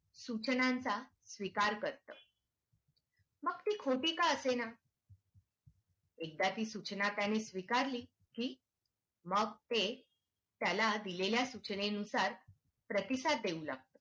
सूचनांचा स्वीकार करत मग ती खोटी का असे ना? एकदा ची सूचना त्यांनी स्वीकारली कि मग ते त्याला दिलेल्या सूचनेनुसार प्रतिसाद देऊ लागतात